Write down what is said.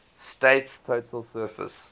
state's total surface